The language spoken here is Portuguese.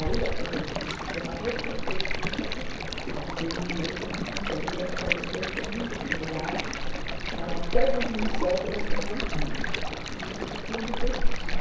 Aí se chama retrospectiva, a de dois mil e oito eu não fiz ainda porque esse ano foi muito atribulado, mas até dois mil e sete elas estão prontinhas e dizem tudo o que eu fiz.